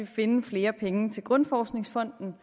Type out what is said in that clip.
finde flere penge til grundforskningsfonden